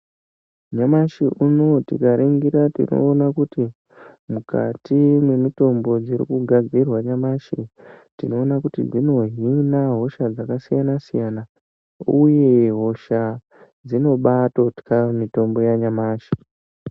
Nyamashe uno tikaringira tikaona kuti mukati memitombo irikugadzirwa nyamashi, tinoona kuti dzinohina hosha dzakasiyana siyana uye hosha dzinobaatotya mitombo yanyamashi.